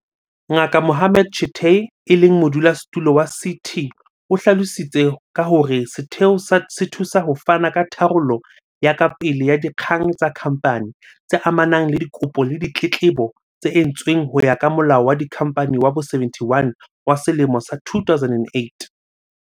Ngaka Mohammed Chicktay, e leng Modulasetulo wa CT, o hlalositse ka hore setheo se thusa ho fana ka tharollo ya kapele ya dikgang tsa kha mphani, tse amanang le dikopo le ditletlebo tse entsweng ho ya ka Molao wa Dikhamphani wa bo-71 wa selemo sa 2008.